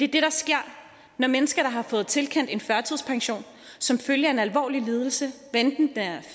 det der sker når mennesker der har fået tilkendt en førtidspension som følge af en alvorlig lidelse hvad enten den er